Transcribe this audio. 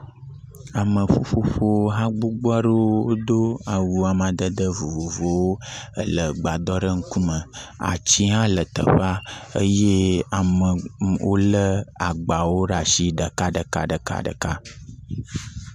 Ame ƒuƒoƒo hã ɖe wò do awu amadede vovovowo ele gbadɔ ɖe ƒe ŋkume. Ati hã le teƒea eye amewo le agbawo ɖe asi ɖeka ɖeka ɖeka ɖeka.